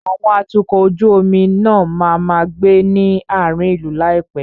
Àwọn atukọ̀ ojú omi náà máa máa gbé ní àárín ìlú ní àìpé.